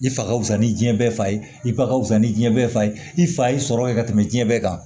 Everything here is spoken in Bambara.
I fa ka fusa ni diɲɛ bɛɛ fa ye i fa ka wusa ni diɲɛ bɛɛ fa ye i fa ye sɔrɔ kɛ ka tɛmɛ jiyɛn bɛɛ kan